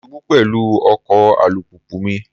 Mo ṣubú pẹ̀lú ọkọ̀ alùpùpù mi.